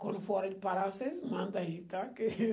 Quando for a hora de parar, vocês mandam aí, tá? Que...